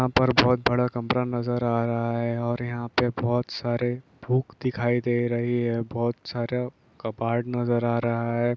यहां पर बोहोत बड़ा कमरा नजर आ रहा हे ओर यहां पर बोहोत सारी बुक दिखाई दे रही हे बोहोत सारा कबाट नजर आ रहा हे ।